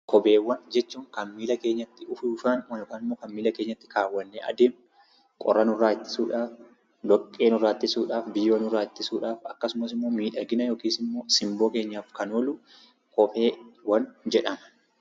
Kopheewwan miila keenyatti keewwanne adeemnudha. Qorra, dhoqqee, biyyoo nurraa ittisuudhaaf, akkasumas miidhagina yookiin simboo keenyaaf kan oolu kopheewwan jedhama.